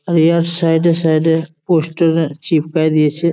এই আর সাইড -এ সাইড -এ পোস্টার চিপকাই দিয়েছে ।